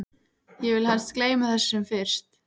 Ég vil helst gleyma þessu sem fyrst.